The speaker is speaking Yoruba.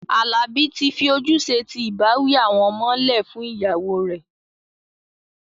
Àlabí tì fí òjúṣẹ̀ tì ìbàwí àwọn ọmọ lẹ fún iyàwọ rè.